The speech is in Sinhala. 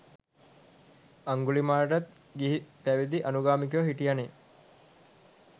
අංගුලිමාලටත් ගිහිපැවදි අනුගාමිකයො හිටියනෙ.